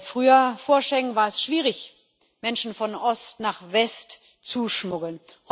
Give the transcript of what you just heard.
Früher, vor Schengen, war es schwierig, Menschen von Ost nach West zu schmuggeln.